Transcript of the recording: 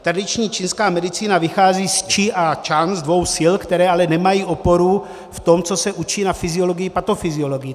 Tradiční čínská medicína vychází z čchi a cang, z dvou sil, které ale nemají oporu v tom, co se učí na fyziologii, patofyziologii.